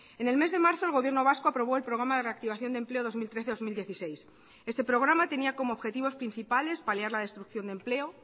en el mes de marzo el gobierno vasco aprobó el programa de reactivación de empleo dos mil trece dos mil dieciséis este programa tenía como objetivos principales paliar la destrucción de empleo